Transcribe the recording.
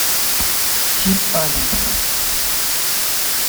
тим аллен